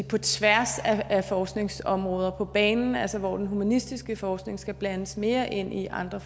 på tværs af forskningsområder på banen altså hvor den humanistiske forskning skal blandes mere ind i andre